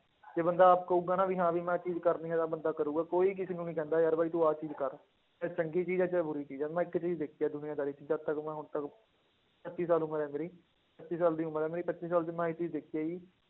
ਜੇ ਬੰਦਾ ਆਪ ਕਹੇਗਾ ਨਾ ਵੀ ਹਾਂ ਵੀ ਮੈਂ ਇਹ ਚੀਜ਼ ਕਰਨੀ ਹੈ ਤਾਂ ਬੰਦਾ ਕਰੇਗਾ, ਕੋਈ ਕਿਸੇ ਨੂੰ ਨੀ ਕਹਿੰਦਾ ਯਾਰ ਬਾਈ ਤੂੰ ਆਹ ਚੀਜ਼ ਕਰ, ਚਾਹੇ ਚੰਗੀ ਚੀਜ਼ ਹੈ ਚਾਹੇ ਬੁਰੀ ਚੀਜ਼ ਹੈ, ਮੈਂ ਇੱਕ ਚੀਜ਼ ਦੇਖੀ ਹੈ ਦੁਨੀਆਦਾਰੀ 'ਚ, ਜਦ ਤੱਕ ਮੈਂ ਹੁਣ ਤੱਕ ਪੱਚੀ ਸਾਲ ਉਮਰ ਹੈ ਮੇਰੀ ਪੱਚੀ ਸਾਲ ਦੀ ਉਮਰ ਹੈ ਮੇਰੀ, ਪੱਚੀ ਸਾਲ 'ਚ ਮੈਂ ਇਹ ਚੀਜ਼ ਦੇਖੀ ਆ ਕਿ